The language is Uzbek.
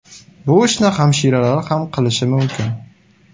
Bu ishni hamshiralar ham qilishi mumkin”.